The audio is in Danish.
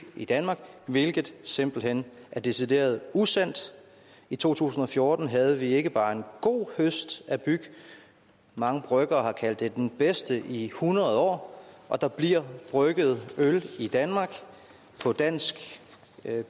i danmark hvilket simpelt hen er decideret usandt i to tusind og fjorten havde vi ikke bare en god høst af byg mange bryggere har kaldt det den bedste i hundrede år og der bliver brygget øl i danmark på dansk